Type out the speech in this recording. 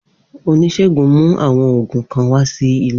Onisegun mu awọn oogun kan wa si ile.